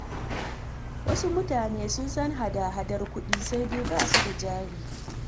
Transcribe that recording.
Wasu mutanen sun san hada-hadar kuɗi, sai dai ba su da jari.